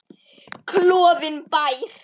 Klofinn bær.